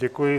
Děkuji.